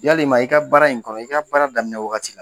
Yalima i ka baara in kɔnɔ, i ka baara daminɛ wagati la ?